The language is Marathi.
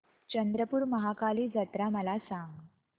चंद्रपूर महाकाली जत्रा मला सांग